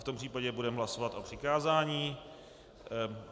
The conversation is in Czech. V tom případě budeme hlasovat o přikázání.